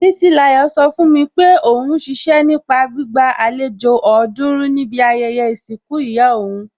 Títílayọ̀ sọ fún mi pé òún ṣiṣẹ́ nípa gbígba àlejò ọ̀ọ́dúrún níbi ayẹyẹ ìsìnkú ìyá òún